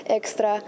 Ekstra.